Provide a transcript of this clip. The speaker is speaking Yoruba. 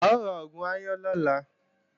A ó ra oògùn aáyán lọ́la